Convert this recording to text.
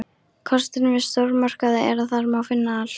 Kosturinn við stórmarkaði er að þar má finna allt.